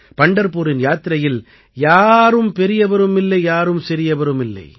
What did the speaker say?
பண்டர்பூரின் யாத்திரையில் யாரும் பெரியவரும் இல்லை யாரும் சிறியவரும் இல்லை